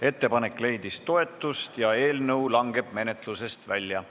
Ettepanek leidis toetust ja eelnõu langeb menetlusest välja.